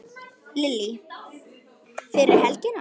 Lillý: Fyrir helgina?